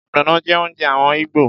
Ogbono jẹ́ oúnjẹ àwọn Igbo.